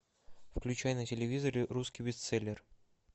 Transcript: включай на телевизоре русский бестселлер